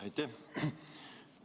Aitäh!